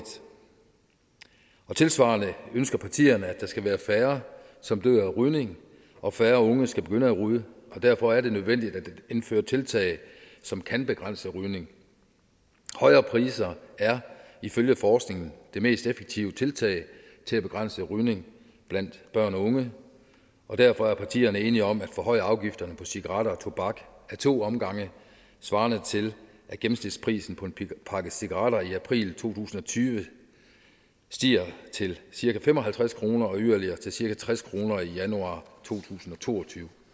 tilsvarende ønsker partierne at der skal være færre som dør af rygning og færre unge skal begynde at ryge derfor er det nødvendigt at indføre tiltag som kan begrænse rygningen højere priser er ifølge forskningen det mest effektive tiltag til at begrænse rygning blandt børn og unge og derfor er partierne enige om at forhøje afgifterne på cigaretter og tobak ad to omgange svarende til at gennemsnitsprisen på en pakke cigaretter i april to tusind og tyve stiger til cirka fem og halvtreds kroner og yderligere til cirka tres kroner i januar to tusind og to og tyve